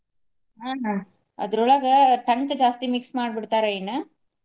ಹ್ಮ ಅದ್ರೋಳಗ ಟಂಕ ಜಾಸ್ತಿ mix ಮಾಡಿ ಬಿಡ್ತಾರೊ ಏನ.